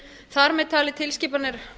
þar með talið tilskipanir